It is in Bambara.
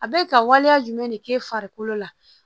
A bɛ ka waleya jumɛn de k'e farikolo la